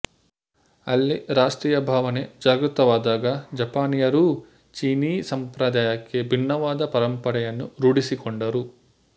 ಅಲ್ಲಿ ರಾಷ್ಟ್ರೀಯ ಭಾವನೆ ಜಾಗೃತವಾದಾಗ ಜಪಾನೀಯರೂ ಚೀನೀ ಸಂಪ್ರದಾಯಕ್ಕೆ ಭಿನ್ನವಾದ ಪರಂಪರೆಯನ್ನು ರೂಢಿಸಿಕೊಂಡರು